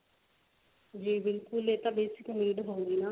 ਜੀ ਬਿਲਕੁਲ ਇਹ ਤਾਂ basic need ਹੁੰਦੀ ਆ